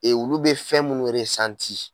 E olu be fɛn munnu resanti